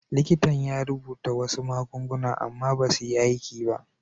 Likitan ya rubuta wasu magunguna amma basu yi masa aiki ba.